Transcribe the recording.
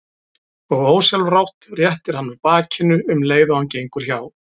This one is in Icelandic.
Og ósjálfrátt réttir hann úr bakinu um leið og hann gengur hjá.